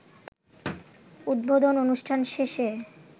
উদ্বোধন অনুষ্ঠান শেষে